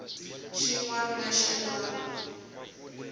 xin wana ni xin wana